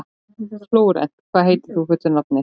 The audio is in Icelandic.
Flórent, hvað heitir þú fullu nafni?